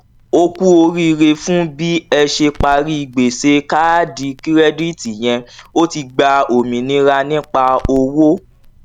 o kú oríire fún bí ẹ ṣe parí gbèsè káàdì kirẹditi yẹn o ti gba òmìnira nípa owó